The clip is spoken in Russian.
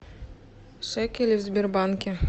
шекели в сбербанке